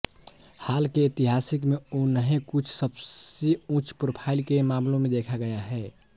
हाल के इतिहास में उन्हें कुछ सबसे उच्च प्रोफ़ाइल के मामलों में देखा गया है